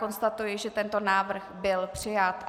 Konstatuji, že tento návrh byl přijat.